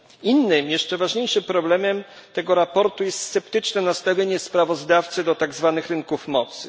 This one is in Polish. Innym, jeszcze ważniejszym problemem tego sprawozdania jest sceptyczne nastawienie sprawozdawcy do tak zwanych rynków mocy.